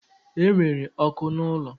Enwere ọkụ n'ụlọ?